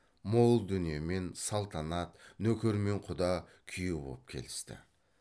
мол дүниемен салтанат нөкермен құда күйеу боп келісті